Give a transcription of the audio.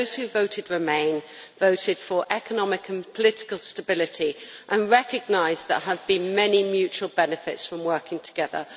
Those who voted remain voted for economic and political stability and recognise that there have been many mutual benefits from working together.